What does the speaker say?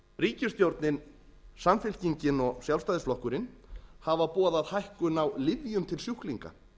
ríkisstjórnin samfylkingin og sjálfstæðisflokkurinn hafa boðað hækkun á lyfjum til sjúklinga